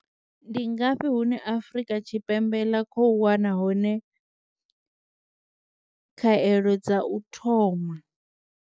Ndi ngafhi hune Afrika Tshipembe ḽa khou wana hone khaelo dza u thoma?